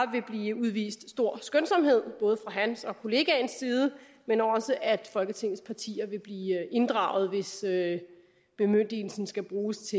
vil blive udvist stor skønsomhed både hans og kollegaens side men også at folketingets partier vil blive inddraget hvis bemyndigelsen skal bruges